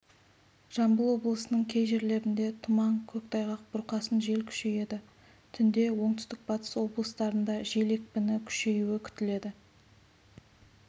жамбыл облысының кей жерлерінде тұман көктайғақ бұрқасын жел күшейеді түнде оңтүстік-батыс облыстарында жел екпіні күшеюі күтіледі